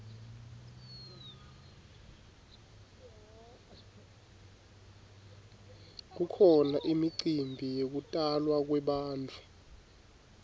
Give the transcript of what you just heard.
kukhona imicimbi yekutalwa kwebantfu